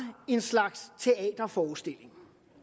en slags teaterforestilling